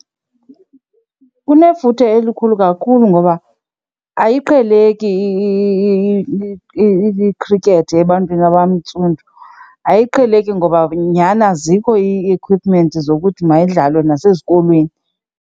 Unefuthe elikhulu kakhulu ngoba ayiqheleki i-cricket ebantwini abantsundu. Ayiqheleki ngoba nyhni azikho ii-equipment zokuthi mayidlalwe nasezikolweni.